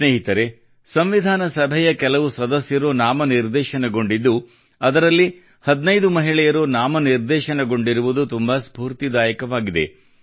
ಸ್ನೇಹಿತರೇ ಸಂವಿಧಾನ ಸಭೆಯ ಕೆಲವು ಸದಸ್ಯರು ನಾಮನಿರ್ದೇಶನಗೊಂಡಿದ್ದು ಅದರಲ್ಲಿ 15 ಮಹಿಳೆಯರು ನಾಮನಿರ್ದೇಶನಗೊಂಡಿರುವುದು ತುಂಬಾ ಸ್ಫೂರ್ತಿದಾಯಕವಾಗಿದೆ